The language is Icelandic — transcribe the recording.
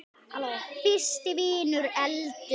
Fyrst hvinur, svo eldur.